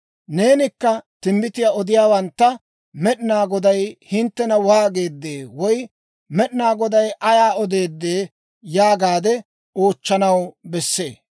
«Neenikka timbbitiyaa odiyaawantta, ‹Med'inaa Goday hinttena waageedee? woy, Med'inaa Goday Ayaa odeeddee?› yaagaade oochchanaw bessee.